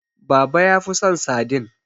baba ya fi son sadin